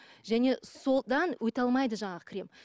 және содан өте алмайды жаңағы крем